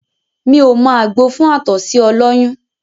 Mí ò mọ àgbo fún àtọ̀sí ọlọ́yún